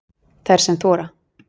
Þær sem þora